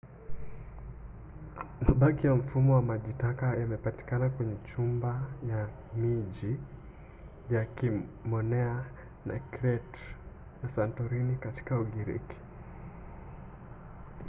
mabaki ya mfumo wa maji taka yamepatikana kwenye nyumba za miji ya kiminoa ya crete na santorini katika ugiriki